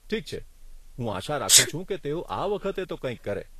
ઠીક છે, હું આશા રાખું છું કે તેઓ આ વખતે તો કંઈક કરે.